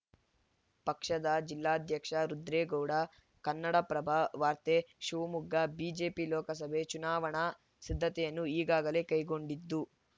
ಪಕ್ಷದ ಜಿಲ್ಲಾಧ್ಯಕ್ಷ ರುದ್ರೇಗೌಡ ಕನ್ನಡಪ್ರಭ ವಾರ್ತೆ ಶಿವಮೊಗ್ಗ ಬಿಜೆಪಿ ಲೋಕಸಭೆ ಚುನಾವಣಾ ಸಿದ್ಧತೆಯನ್ನು ಈಗಾಗಲೇ ಕೈಗೊಂಡಿದ್ದು